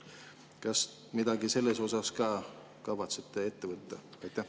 Kas midagi selles osas ka kavatsete ette võtta?